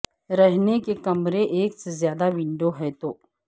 رہنے کے کمرے ایک سے زیادہ ونڈو ہے تو